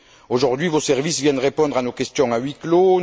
Aujourd'hui, vos services viennent répondre à nos questions à huis clos.